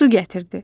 Su gətirdi.